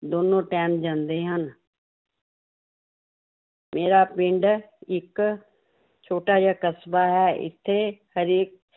ਦੋਨੋਂ time ਜਾਂਦੇ ਹਨ ਮੇਰਾ ਪਿੰਡ ਇੱਕ ਛੋਟਾ ਜਿਹਾ ਕਸਬਾ ਹੈ l ਇੱਥੇ ਹਰੇਕ